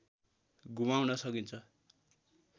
घुमाउन सकिन्छ